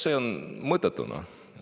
See oleks mõttetu.